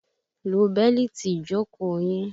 Lo bẹ́lìtì ìjókòó yín!